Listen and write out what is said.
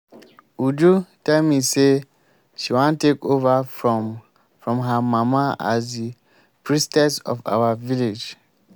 uju tell me say she wan take over from from her mama as the priestess of our village